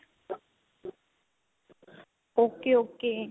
okay okay